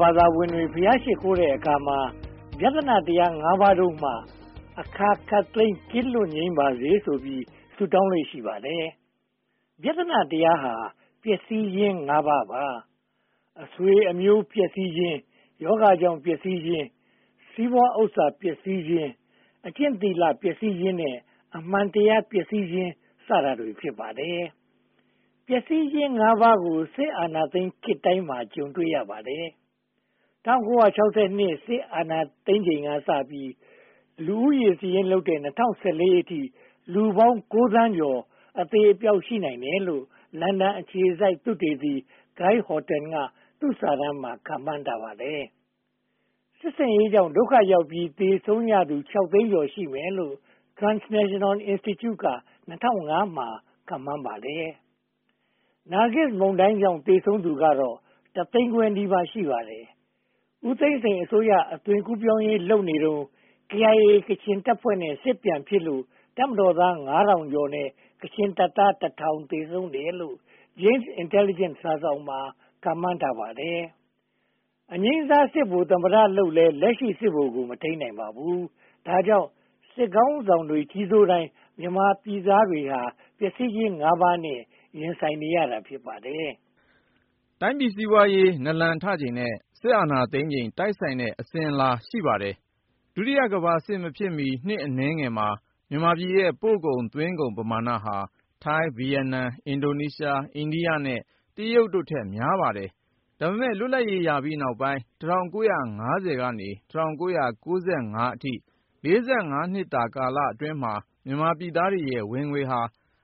ဘာသာဝင်တွေ ဘုရားရှစ်ခိုးတဲ့အခါမှာ ဗျသနတရား ပါးတို့မှ အခါခပ်သိမ်း ကင်းလွတ်ငြိမ်းပါစေဆိုပြီး ဆုတောင်းလေ့ ရှိပါတယ်။ ဗျသနတရားဟာ ပျက်စီးခြင်း ပါး။ အဆွေအမျိုး ပျက်စီးခြင်း၊ ရောဂါကြောင့်ပျက်စီးခြင်း၊ စီးပွားဥစ္စာပျက်စီးခြင်း၊ အကျင့်သီလပျက်စီးခြင်း နဲ့ အမှန်တရားပျက်စီးခြင်း စတာတွေ ဖြစ်ပါတယ်။ ပျက်စီးခြင်း ပါးကို စစ်အာဏာရှင်ခေတ်တိုင်းမှာ ကြုံတွေ့ရပါတယ်။ ၁၉၆၂ စစ်အာဏာသိမ်းချိန်ကစပြီး လူဦးရေစာရင်းလုပ်တဲ့ ၂၀၁၄ အထိ လူပေါင်း သန်းကျော် အသေအပျောက် ရှိနိုင်တယ်လို့ လန်ဒန်အခြေစိုက် သုတေသီ Guy Horton က သူ့စာတမ်းမှာ ခန့်မှန်းထားပါတယ်။ စစ်ဆင်ရေးကြောင့် ဒုက္ခရောက်ပြီး သေဆုံးရသူ သိန်းကျော် ရှိမယ်လို့ Transnational Institute က ၂၀၀၅ မှာ ခန့်မှန်းပါတယ်။ နာဂစ်မုန်တိုင်းကြောင့် သေဆုံးသူကတော့ တသိန်းခွဲနီးပါး ရှိပါတယ်။ ဦးသိန်းစိန်အစိုးရ အသွင်ကူးပြောင်းရေးလုပ်နေတုန်း KIA ကချင်တပ်ဖွဲ့နဲ့ စစ်ပြန်ဖြစ်လို့ တပ်မတော်သား နဲ့ ကချင်တပ်သား သေဆုံးတယ်လို့ Jane’s Intelligence စာစောင်က ခန့်မှန်းပါတယ်။ အငြိမ်းစား စစ်ဗိုလ်သမ္မတလုပ်လည်း လက်ရှိစစ်ဗိုလ်ကို မထိန်းနိုင်ပါဘူး။ ဒါကြောင့် စစ်ခေါင်းဆောင်တွေ ကြီးစိုးတိုင်း မြန်မာပြည်သားတွေဟာ ပျက်စီးခြင်း ပါး ရင်ဆိုင်နေရတာ ဖြစ်ပါတယ်။ တိုင်းပြည်စီးပွားရေး နာလန်ထချိန်နဲ့ စစ်အာဏာသိမ်းချိန် တိုက်ဆိုင်တဲ့ အစဉ်အလာ ရှိပါတယ်။ ဒုတိယကမ္ဘာစစ်မဖြစ်မီ နှစ်အနည်းငယ်မှာ မြန်မာပြည်ရဲ့ ပို့ကုန်သွင်းကုန် ပမာဏဟာ ထိုင်း၊ ဗိယက်နမ်၊ အင်ဒိုနေရှား၊ အိန္ဒိယနဲ့ တရုတ်တို့ထက် များပါတယ်။ ဒါပေမဲ့ လွတ်လပ်ရေးရပြီးနောက်ပိုင်း ၁၉၅၀ က ၁၉၉၅ အထိ နှစ်ကာလမှာ မြန်မာပြည်သားတွေရဲ့ ဝင်ငွေဟာ